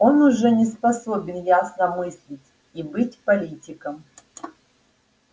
он уже не способен ясно мыслить и быть политиком